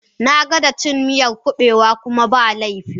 Na gwada cin miyar kubewa kuma ba laifi.